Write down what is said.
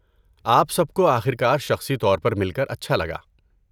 آپ سب کو آخر کار شخصی طور پر مل کر اچھا لگا۔